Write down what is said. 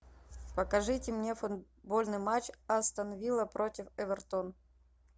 покажите мне футбольный матч астон вилла против эвертон